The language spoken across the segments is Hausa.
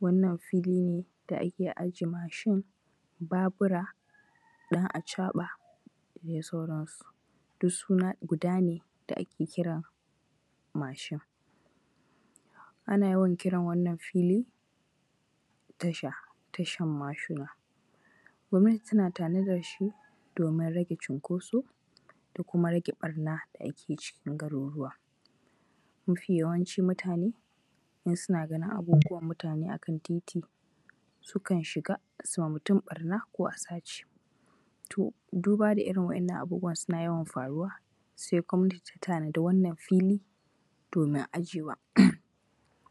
Wannan fili ne da ake ajiye mashin, babura, ɗan-acaɓa da dai sauransu, duk suna ne da ake kira mashi. Ana yawan kiran wannan fili, tasha, tashan mashi. Gwamnati tana tanadar shi domin rage cunkoso da kuma rage ɓarna da ake yi cikin garuruwa. Mafi yawancin mutane in suna ganin abubuwan mutane akan titi sukan shiga su ma mutum ɓarna ko a sace. To duba da irin wa’innan abubuwa suna yawan faruwa sai gwamnati ta tanadi wannan fili domin ajewa,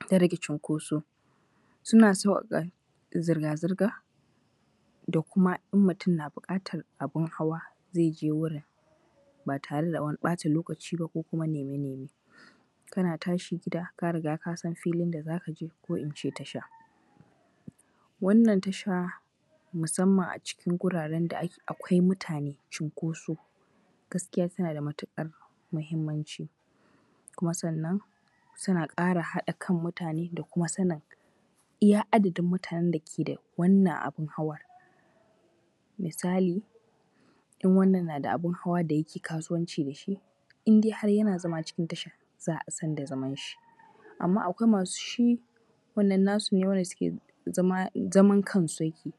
don rage cunkoso. Suna saukaka zirgazirga da kuma in mutum na bukatar abun hawa zaije wurin ba tare da wani bata lokaciba ko wani naime naime. Kana tashi gida ka riga kasan filin da zakaje ko ince tasha. Wanna tasha musamman acikin guraren da akwai mutane chinkoso gaskiya tanada matukar muhimmanci, kuma sannan suna kara hada kan mutuneda kuma sanin iya adadin mutanen da ke da wannan abun hawar, misali, n wannan nada abun hawa da yake kasuwanci dashi indai har yana zama cikin tashar za'a sanda zamanshi, aman akwai masu shi wannan nasune zaman kansu yake,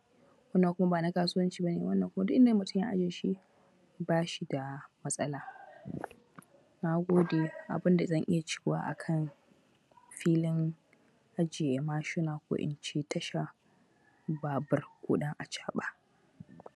wannan kuma ba na kasuwanci bane wannan kuma duninda mutum ya ajiyeshi bashi da matsala. Nagode, abunda zaniya cewa akan filin ajiye mashina ko ince tashar babur ko dan acaba.